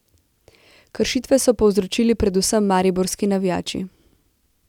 Kršitve so povzročili predvsem mariborski navijači.